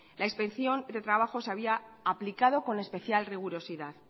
la inspección de trabajo se había aplicado con especial rigurosidad